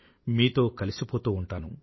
మీతో కలిసిపోతూ ఉంటాను